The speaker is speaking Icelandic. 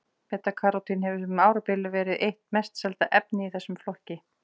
Beta-karótín hefur um árabil verið eitt mest selda efnið í þessum flokki.